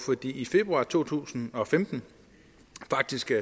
i februar to tusind og femten